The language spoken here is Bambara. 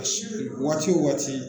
Waati o waati